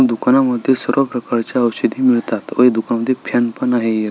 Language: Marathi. दुकानांमध्ये सर्व प्रकारच्या औषधे मिळतात व दुकान मध्ये फॅन पन आहे एक.